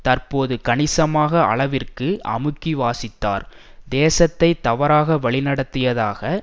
தற்போது கணிசமாக அளவிற்கு அமுக்கி வாசித்தார் தேசத்தை தவறாக வழிநடத்தியதாக